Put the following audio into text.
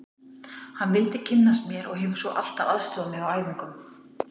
Hann vildi kynnast mér og hefur svo alltaf aðstoðað mig á æfingum.